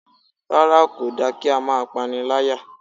Rárá kò dára kí á máa pániláyà